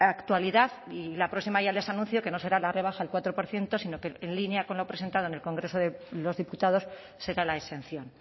actualidad y la próxima ya les anuncio que no será la rebaja al cuatro por ciento sino que en línea con lo presentado en el congreso de los diputados será la exención